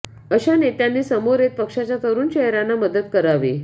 अशा नेत्यांनी समोर येत पक्षाच्या तरुण चेहऱयांना मदत करावी